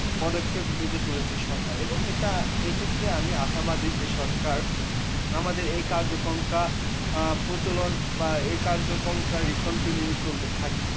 পদক্ষেপ নিতে চলেছে সরকার এবং এটা এক্ষেত্রে আমি আশাবাদী যে সরকার আমাদের এই কার্যক্রমটা আ প্রচলন বা এই কার্যক্রমটা recountinue চলতে থাকবে।